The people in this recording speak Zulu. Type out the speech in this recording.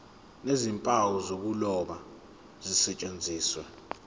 nezimpawu zokuloba zisetshenziswe